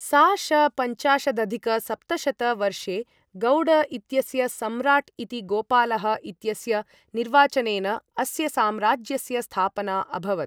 सा.श. पंचाशदधिकसप्तशत वर्षे गौड इत्यस्य सम्राट् इति गोपालः इत्यस्य निर्वाचनेन अस्य साम्राज्यस्य स्थापना अभवत्।